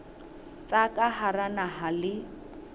tsa ka hara naha le